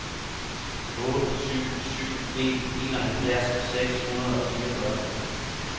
otte syv syv en enoghalvfjerds seks hundrede og fireogfyrre